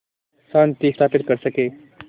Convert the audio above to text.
शांति स्थापित कर सकें